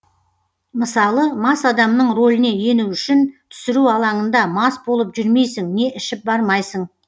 мысалы мас адамның роліне ену үшін түсіру алаңында мас болып жүрмейсің не ішіп бармайсың